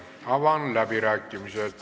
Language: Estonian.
Aitäh, rahandusminister!